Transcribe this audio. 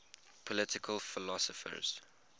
political philosophers